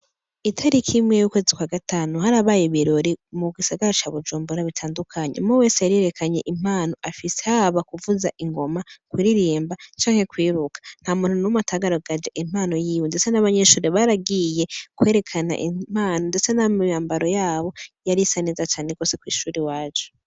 Itariki imwe y'ukwezi kwa gatanu harabaye ibirori mu gisagara ca Bujumbura bitandukanye, umwe wese yarerekanye impano afise haba kuvuza ingoma, kuririmba canke kwiruka, nta muntu numwe atagaragaje impano yiwe, ndetse n'abanyeshure baragiye kwerekana impano ndetse n'imyambaro yabo yarisa neza cane gose Ku ishure iwacu.